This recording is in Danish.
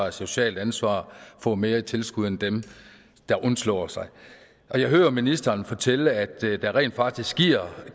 et socialt ansvar får mere i tilskud end dem der undslår sig jeg hører ministeren fortælle at der rent faktisk